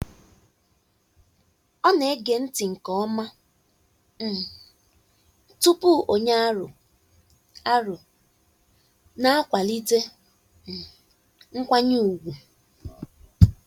Ọ na-ege ntị nke ọma um tupu ọ nye aro, aro, na-akwalite um nkwanye ùgwù.